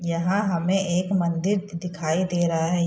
यहाँ हमें एक मंदिर द् दिखाई दे रहा है। य --